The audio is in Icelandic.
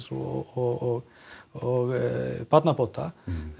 og og barnabóta